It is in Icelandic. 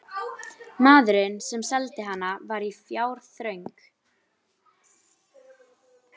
Maðurinn, sem seldi hana, var í fjárþröng.